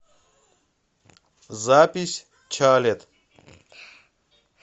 запись чалет